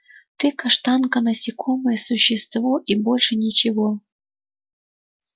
ты каштанка насекомое существо и больше ничего